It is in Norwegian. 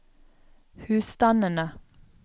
husstandene